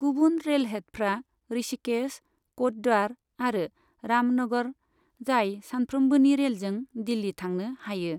गुबुन रेलहेडफ्रा ऋषिकेश, कोटद्वार आरो रामनगर, जाय सानफ्रोमबोनि रेलजों दिल्ली थांनो हायो।